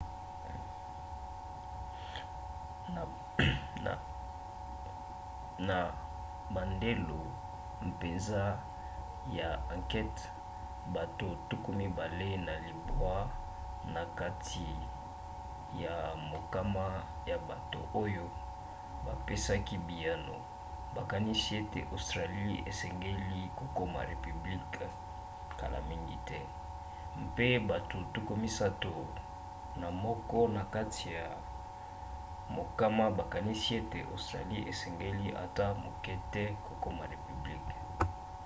na bandelo mpenza ya ankete bato 29 na kati ya mokama ya bato oyo bapesaki biyano bakanisi ete australie esengeli kokoma repiblike kala mingi te pe bato 31 na kati ya mokama bakanisi ete australie esengeli ata moke te kokoma repiblike